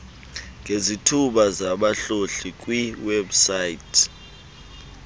ngezithuba zabahlohli kwiwebsite